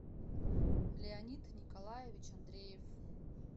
леонид николаевич андреев